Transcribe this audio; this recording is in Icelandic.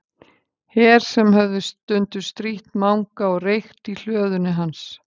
Her sem höfðu stundum strítt Manga og reykt í hlöðunni hans.